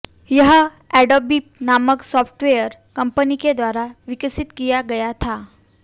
यह अडॉबी नामक software company के द्वारा विकसित किया गया था